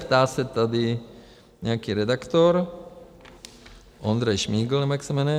Ptá se tady nějaký redaktor - Ondřej Šmigol, nebo jak se jmenuje.